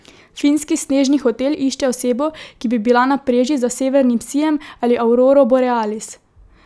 Finski snežni hotel išče osebo, ki bi bila na preži za severnim sijem ali auroro borealis.